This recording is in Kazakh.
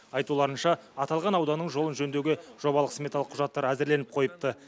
айтуларынша аталған ауданның жолын жөндеуге жобалық сметалық құжаттар әзірленіп қойыпты